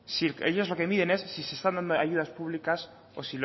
ellos lo que miden es si se están dando ayudas públicas o